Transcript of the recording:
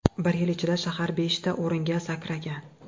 Bir yil ichida shahar beshta o‘ringa sakragan.